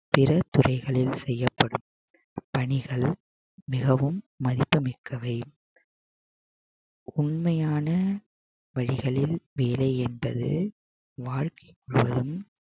பிற துறைகளில் செய்யப்படும் பணிகள் மிகவும் மதிப்புமிக்கவை உண்மையான வழிகளில் வேலை என்பது வாழ்க்கை முழுவதும்